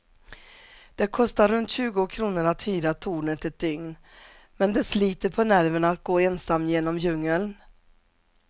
Det kostar runt tjugo kronor att hyra tornet ett dygn, men det sliter på nerverna att gå ensam genom djungeln.